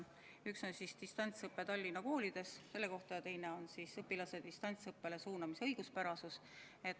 Üks on distantsõppe kohta Tallinna koolides, ja teine on õpilase distantsõppele suunamise õiguspärasuse kohta.